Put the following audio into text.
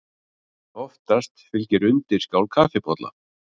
Oftast fylgir undirskál kaffibolla.